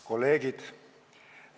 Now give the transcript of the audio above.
Kolleegid!